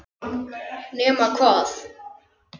Nema hvað!